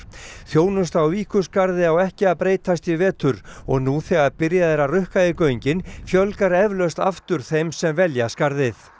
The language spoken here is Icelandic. þjónusta á Víkurskarði á ekki að breytast í vetur og nú þegar byrjað er að rukka í göngin fjölgar eflaust aftur þeim sem velja skarðið